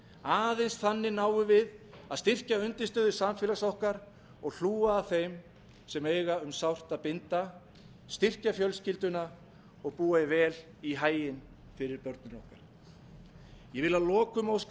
aðeins þannig náum við að styrkja undirstöður samfélags okkar og hlúa að þeim sem eiga um sárt að binda styrkja fjölskylduna og búa vel í haginn fyrir börnin okkar ég vil að lokum óska